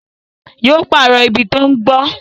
Yó pàrọ̀ ibi tí ó ń gbó